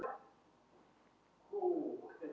Vafamál getur leikið á því hvað teljist lög.